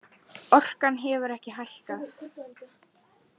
Orkan hefur ekki hækkað